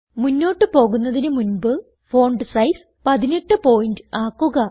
മുന്നോട്ട് പോകുന്നതിന് മുൻപ് ഫോണ്ട് സൈസ് 18 പോയിന്റ് ആക്കുക